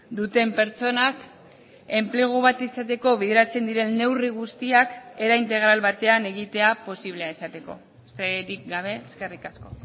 duten pertsonak enplegu bat izateko bideratzen diren neurri guztiak era integral batean egitea posiblea izateko besterik gabe eskerrik asko